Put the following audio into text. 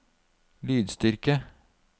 lydstyrke